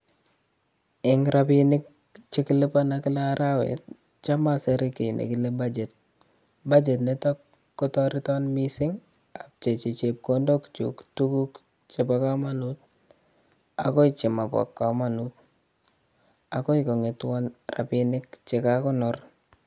Eng' rapinik chekilipana kila arawet cham asere kiy nekile budget, budget nitok kotereton mising' apchechi chepkondok chun tuguk chepo komanut akoy chemapo komanut akoy kong'etwon rapinik chekagonor.